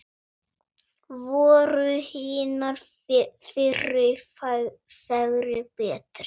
Voru hinar fyrri fegri, betri?